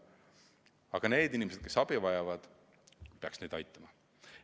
Aga need inimesed, kes abi vajavad – neid peaks aitama.